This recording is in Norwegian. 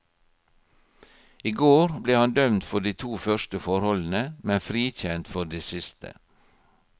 I går ble han dømt for de to første forholdene, men frikjent for det siste.